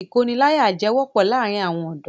Ìkóniláyàjẹ wọ́pọ̀ láàrin àwọn ọ̀dọ́.